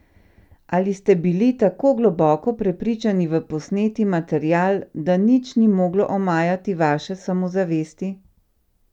Ali ste bili tako globoko prepričani v posneti material, da nič ni moglo omajati vaše samozavesti?